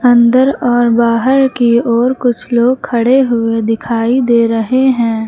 अंदर और बाहर की ओर कुछ लोग खड़े हुए दिखाई दे रहे हैं।